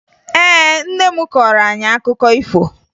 Ee, nne m kọọrọ anyị akụkọ ifo